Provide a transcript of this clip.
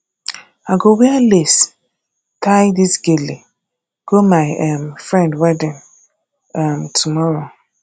i go wear lace tie dis gele go my um friend wedding um tomorrow